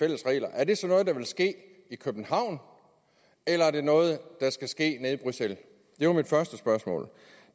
er det så noget der vil ske i københavn eller er det noget der skal ske nede i bruxelles det var mit første spørgsmål